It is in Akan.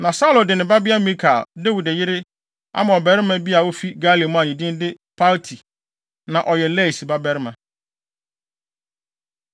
Na Saulo de ne babea Mikal, Dawid yere, ama ɔbarima bi a ofi Galim a ne din de Palti a na ɔyɛ Lais babarima.